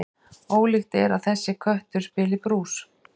Ólíklegt er að þessi köttur spili brús.